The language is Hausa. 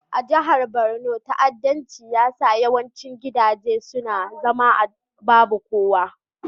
A jihar Borno, ta'addanci ya sanya yawancin gidaje su zama babu kowa.